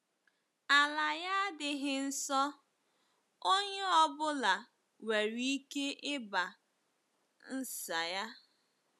Ala ya adịghị nsọ, onye ọ bụla nwere ike ịba ns ya. ”